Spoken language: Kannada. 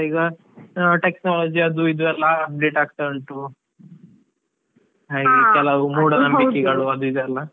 ಈಗ technology ಅದು ಇದು ಎಲ್ಲಾ update ಆಗ್ತಾ ಉಂಟು, ಮೂಢನಂಬಿಕೆಗಳು ಅದು ಇದು ಎಲ್ಲಾ.